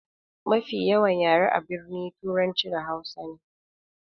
Mafi yawan yare a birni turanci da hausa ne.